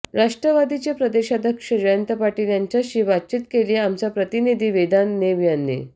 राष्ट्रवादीचे प्रदेशाध्यक्ष जयंत पाटील यांच्याशी बातचित केलीय आमचा प्रतिनिधी वेदांत नेब याने